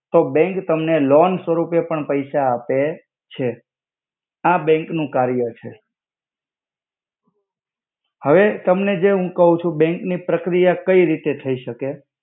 તો બેંક તમને લોન સ્વરુપે પણ પૈસા આપે છે આ બેંક નુ કર્ય છે હવે તમને જે હુ કવ છુ બેંક ની પ્રક્રિયા કઈ રિતે થઇ સકે.